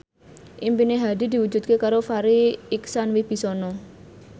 impine Hadi diwujudke karo Farri Icksan Wibisana